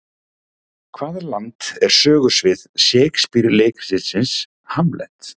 Hvaða land er sögusvið Shakespeare leikritsins Hamlet?